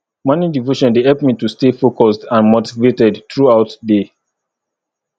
morning devotion dey help me to stay focused and motivated throughout day